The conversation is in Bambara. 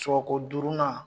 Sɔgɔko duurunan.